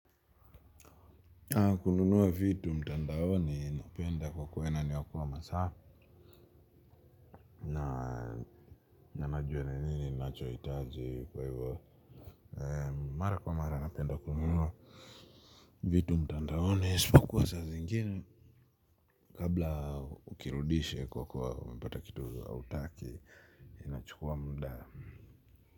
Kununuwa vitu mtandaoni napenda kwa kuwa inaniokoa masaa na nanajuwa ni nini nachohitaji kwa hivyo mara kwa mara napenda kununuwa vitu mtandaoni isopokua saa zingine kabla ukirudishe kwa kuwa umepata kitu hautaki inachukua muda.